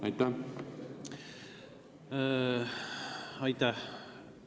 Aitäh!